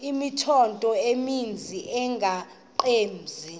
imithqtho emininzi engabaqbenzi